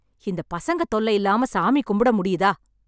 இந்த பசங்க தொல்லையில்லாம சாமி கும்பிட முடியுதா?